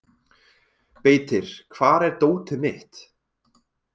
Beitir, hvar er dótið mitt?